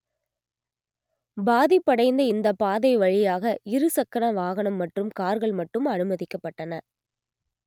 பாதிப்படைந்த இந்த பாதை வழியாக இரு சக்கர வாகனம் மற்றும் கார்கள் மட்டும் அனுமதிக்கப்பட்டன